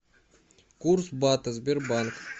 курс бата сбербанк